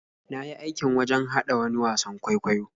Na yi aikin wajen haɗa wani wasan kwaikwayo.